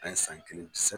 An ye san kelen san